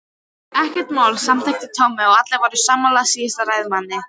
Ekkert mál samþykkti Tommi og allir voru sammála síðasta ræðumanni.